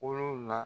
Kolon la